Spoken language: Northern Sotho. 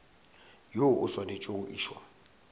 woo o swanetše go išwa